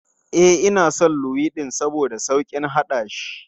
E, ina son luwaiɗin saboda sauƙin haɗashi.